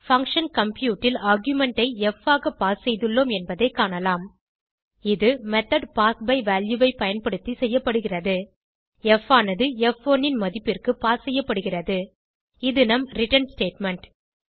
function compute ல் argument ஐ ப் ஆக பாஸ் செய்துள்ளோம் என்பதை காணலாம் இது மெத்தோட் பாஸ் பை வால்யூ ஐ பயன்படுத்தி செய்யப்படுகிறது ப் ஆனது ப்1 ன் மதிப்பிற்கு பாஸ் செய்யப்படுகிறது இது நம் ரிட்டர்ன் ஸ்டேட்மெண்ட்